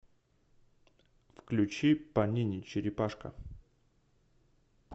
включи панини черепашка